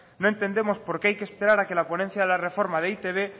no entendemos por qué hay que esperar a que la ponencia de reforma de e i te be